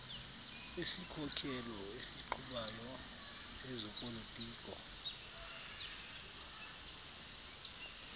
wesikhokelo esiqhubayo sezopolitiko